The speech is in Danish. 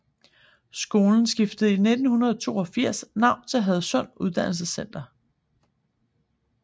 Skolen skiftede i 1982 navn til Hadsund Uddannelsescenter